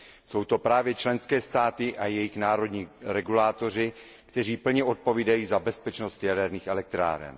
Jsou to právě členské státy a jejich národní regulátoři, kteří plně odpovídají za bezpečnost jaderných elektráren.